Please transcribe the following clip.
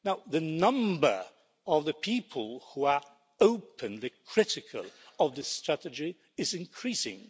The number of people who are openly critical of this strategy is increasing.